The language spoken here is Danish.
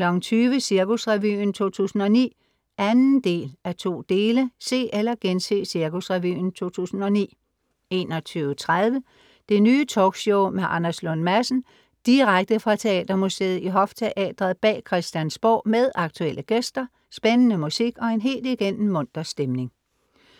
20:00 Cirkusrevyen 2009 (2:2) Se eller gense Cirkusrevyen 2009 21:30 Det Nye Talkshow med Anders Lund Madsen. Direkte fra Teatermuseet i Hofteatret bag Christiansborg med aktuelle gæster, spændende musik og en helt igennem munter stemning, 22:20